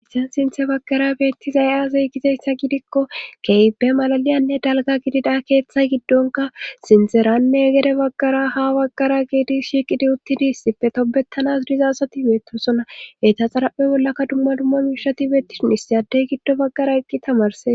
Ha sinthe baggara beetti zay7azey gizayssa gidikko keybe malaliyanne dalga gidida keeththay giddonka sinderanne egere baggara ha baggara giidi shiiqidi uttidi issipfe tobettanas dizasati beettosonaeta xaraphe bollaka dumma dumma miishati beettisin ssi adey giddo baggara eqqi tamarses